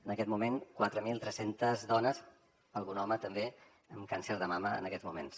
en aquest moment quatre mil tres cents dones algun home també amb càncer de mama en aquests moments